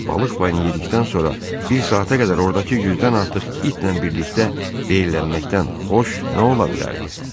Balıq payını yedikdən sonra bir saata qədər ordakı yüzdən artıq itlə birlikdə veyllənməkdən xoş nə ola bilərdi?